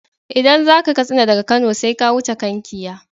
Idan zaka Katsina daga Kano sai ka wuce Kankia.